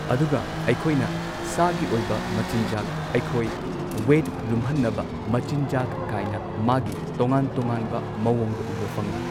ꯑꯗꯨꯒ ꯑꯩꯈꯣꯏꯅ ꯁꯥꯒꯤ ꯑꯣꯏꯕ ꯃꯆꯤꯟꯖꯥꯛ ꯑꯩꯈꯣꯏ ꯋꯦꯠ ꯂꯨꯝꯍꯟꯅꯕ ꯃꯆꯤꯟꯖꯥꯛ ꯀꯥꯏꯅ ꯃꯥꯒꯤ ꯇꯣꯉꯥꯟ ꯇꯣꯉꯥꯟꯕ ꯃꯑꯣꯡꯗ ꯎꯕ ꯐꯪꯉꯤ꯫